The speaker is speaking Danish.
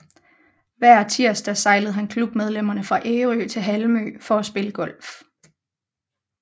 Hver tirsdag sejlede han klubmedlemmerne fra Ærø til Halmø for at spille golf